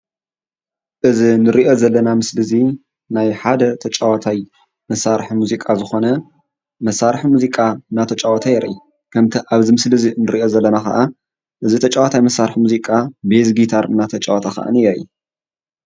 እዚ ንሪኦ ዘለና ምስሊ እዚ ናይ ሓደ ተጫዋታይ መሳርሒ ሙዚቃ ዝኮነ መሳርሒ ሙዚቃ እንዳተጫወተ የርኢ እንተ ኣብዚ እዚ ምስሊ ንሪኦ ዘለና ከዓ እዚ ተጫዋታይ መሳርሒ ሙዚቃ ቤዝ ጊታር እንዳተጫወተ የርኢ::